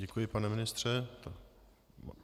Děkuji, pane ministře.